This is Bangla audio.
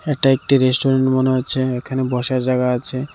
এটা একটি রেস্টুরেন্ট মনে হচ্ছে এখানে বসার জায়গা আছে।